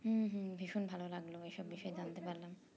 হুম হুম ভীষণ ভালো লাগলো এই সব বিষয়ে জানতে পারলাম